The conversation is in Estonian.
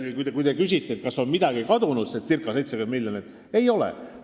Kui te küsite, kas midagi on kadunud, see circa 70 miljonit, siis ma ütlen, et ei ole.